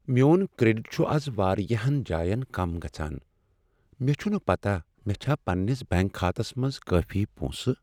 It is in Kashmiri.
میون کریڈٹ چھ از واریاہن جاین کم گژھان۔ مےٚ چھنہٕ پتاہ مےٚ چھا پننس بینٛک كھاتس منٛز کٲفی پونسہٕ ۔